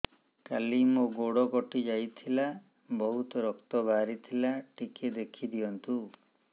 କାଲି ମୋ ଗୋଡ଼ କଟି ଯାଇଥିଲା ବହୁତ ରକ୍ତ ବାହାରି ଥିଲା ଟିକେ ଦେଖି ଦିଅନ୍ତୁ